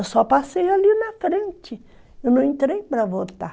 Eu só passei ali na frente, eu não entrei para votar.